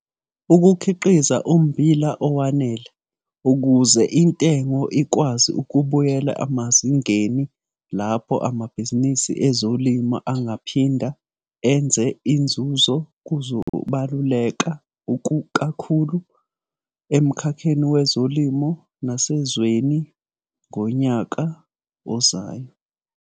Ukukhiqiza ummbila owanele ukuze intengo ikwazi ukubuyela emazingeni lapho amabhizinisi ezolimo engaphinda enze inzuzo kuzobaluleka kakhulu emkhakheni wezolimo nasezweni ngonyaka ozayo.